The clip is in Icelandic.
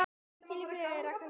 Hvíl í friði, Rakel frænka.